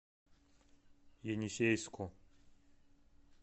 енисейску